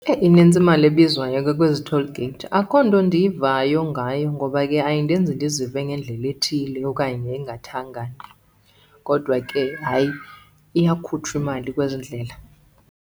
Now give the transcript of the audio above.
Eyi inintsi imali ebizwayo ke kwezi toll gate. Akho nto ndiyivayo ngayo ngoba ke ayindenzi ndizive ngendlela ethile okanye engathangani, kodwa ke hayi iyakhutshwa imali kwezi ndlela.